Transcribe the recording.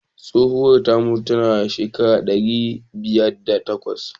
Tsohuwar ta rasu tana da shekara ɗari biyar da bakwai.